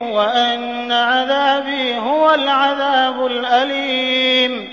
وَأَنَّ عَذَابِي هُوَ الْعَذَابُ الْأَلِيمُ